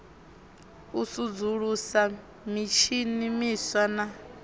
u sudzulusa mitshini miswa na